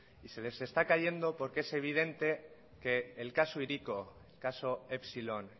y se les está cayendo porque es evidente que el caso hiriko caso epsilon